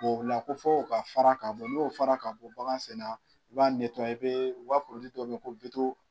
o la ko fɔ o ka fara n'o fara ka bɔ bagan sen na i b'a i bɛ u ka dɔ bɛ yen ko